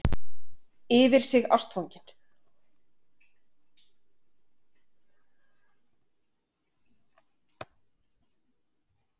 Yfir sig ástfangin.